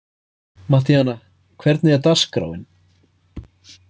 Mattíana, hvernig er dagskráin?